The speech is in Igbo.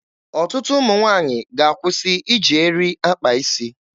Ọtụtụ ụmụ nwaanyị ga-akwụsị iji eri akpa isi.